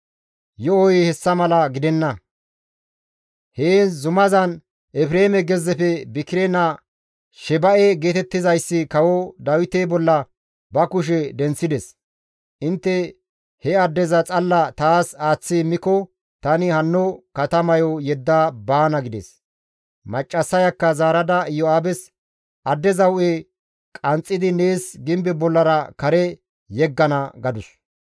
Yo7oy hessa mala gidenna; heen zumazan Efreeme gezzefe Bikire naa Sheba7e geetettizayssi kawo Dawite bolla ba kushe denththides; intte he addeza xalla taas aaththi immiko tani hanno katamayo yedda baana» gides. Maccassayakka zaarada Iyo7aabes, «Addeza hu7e qanxxidi nees gimbe bollara kare yeggana» gadus.